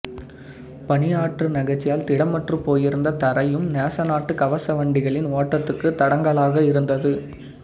பனியாற்று நகர்ச்சியால் திடமற்றுப் போயிருந்த தரையும் நேசநாட்டு கவச வண்டிகளின் ஓட்டத்துக்கு தடங்கலாக இருந்தது